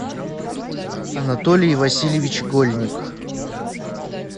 анатолий васильевич гольник